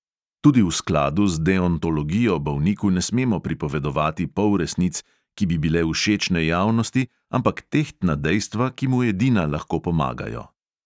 Tudi v skladu z deontologijo bolniku ne smemo pripovedovati polresnic, ki bi bile všečne javnosti, ampak tehtna dejstva, ki mu edina lahko pomagajo.